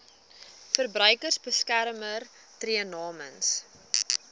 verbruikersbeskermer tree namens